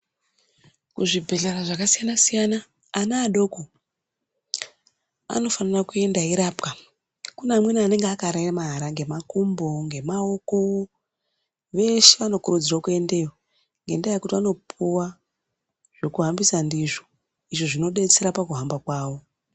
Kuzvibhendlera zvakasiyana siyana ana adoko anofana kuenda eirapwa. Kune amweni anenge akaremara ngemakumbo, ngemaoko. Veshe vanokurudzirwa kuendayo ngenyaya yekuti vanopuwa zvekuhambisa ndizvo. Izvo zvinodetsera pakuhamba kwavo.